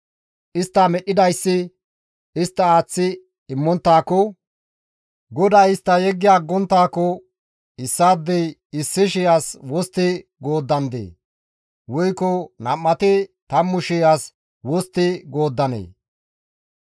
Istta medhdhidayssi istta aaththi immonttaako, GODAY istta yeggi aggonttaako, Issaadey 1,000 as wostti gooddandee? Woykko nam7ati 10,000 as wostti gooddanee?